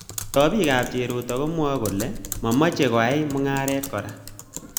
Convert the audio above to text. Chobikab Cheruto komwai kole !mamechei koay mungaret kora